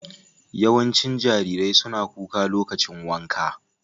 Yawancin jarirai suna kuka lokacin wanka.